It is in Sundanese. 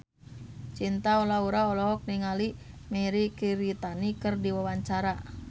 Cinta Laura olohok ningali Mirei Kiritani keur diwawancara